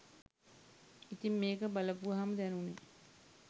ඉතිං මේක බලපුවහම දැනුණේ